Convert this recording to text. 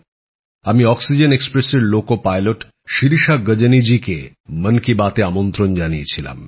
আমি অক্সিজেন এক্সপ্রেসের loco pilot Shirisha Gajni জীকে মন কি বাত এ আমন্ত্রন জানিয়েছিলাম